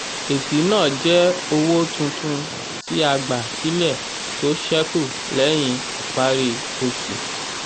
èsì náà jẹ́ owó tuntun tí a gbà sílẹ̀ tó sẹ́kù lẹ́yìn ìparí oṣù.